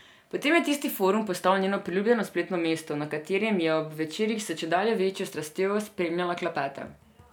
Potem je tisti forum postal njeno priljubljeno spletno mesto, na katerem je ob večerih s čedalje večjo strastjo spremljala klepete.